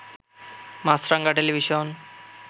Maasranga television